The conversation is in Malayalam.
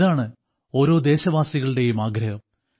ഇതാണ് ഓരോ ദേശവാസികളുടെയും ആഗ്രഹം